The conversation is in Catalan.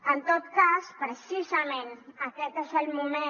en tot cas precisament aquest és el moment